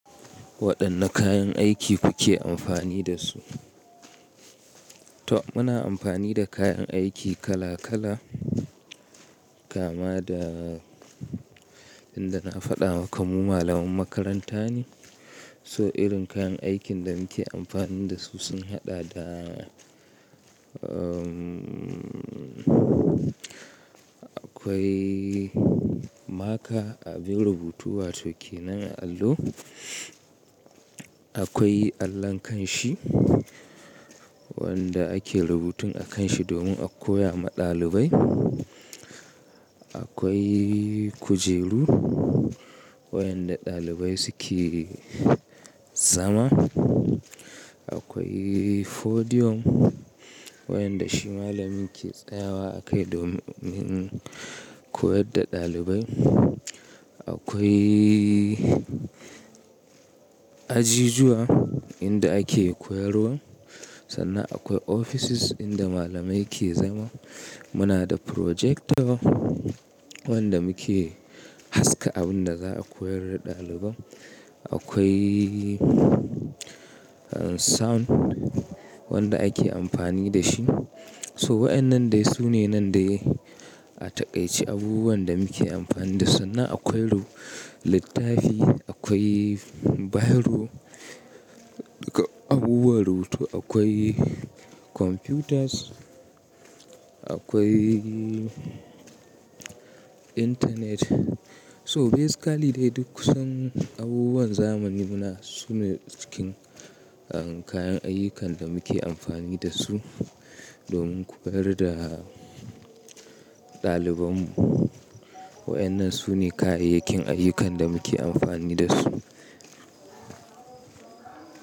Waɗanne kayan aiki kuke amfani da su? To muna amfani da kayan aiki kala kala, kama da inda na faɗa maka mu malaman makaranta ne. So irin kayan aikin da muke amfani da su sun haɗa da, umm, akwai maka abin rubutu wato kenan allo. Akwai allon ƙanshi wanda ake rubutun a kanshi domin a koya ma ɗalibai. Akwai kujeru waɗanda ɗalibai suke zama. Akwai podium waɗanda shi malami ke tsayawa akai domin koyar da ɗalibai. Akwai ajijuwa inda ake koyarwa. Sannan akwai offices inda malamai ke zama. Muna da projector wanda muke haska abin da za a koyar da ɗaliban. Akwai sound wanda ake amfani da shi. So waɗannan dai sune nan dai a taƙaice abubuwan da muke amfani da su. Sannan akwai littafi, akwai biro, duka abubuwan rubutu, akwai computers, akwai internet. So basically dai dukkan abubuwan zamani muna da su ne cikin kayan ayyukan da muke amfani da su domin koyar da ɗalibanmu. Waɗannan su ne kayayyakin ayyukan da muke amfani da su.